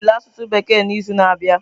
Anyị ga-enwe ule asụsụ Bekee n'izu na-abịa.